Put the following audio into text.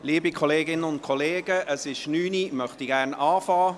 Liebe Kolleginnen und Kollegen, es ist 9 Uhr, ich möchte gerne beginnen.